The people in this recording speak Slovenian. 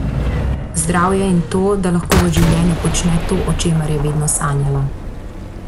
Zdravje in to, da lahko v življenju počne to, o čemer je vedno sanjala.